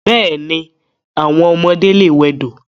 Bẹ́ẹ̀ni, àwọn ọmọdé lè wẹdò.